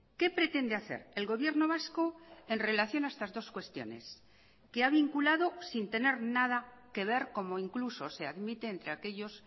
qué pretende hacer el gobierno vasco en relación a estas dos cuestiones que ha vinculado sin tener nada que ver como incluso se admite entre aquellos